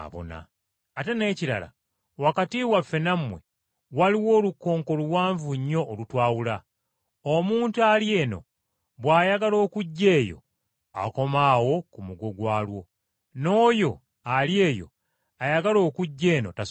Ate n’ekirala, wakati waffe nammwe waliwo olukonko luwanvu nnyo olutwawula, omuntu ali eno bw’ayagala okujja eyo akoma awo ku mugo gwalwo, n’oyo ali eyo ayagala okujja eno tasobola.’